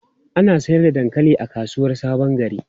Ana sayar da dankali a kasuwar Sabon Gari?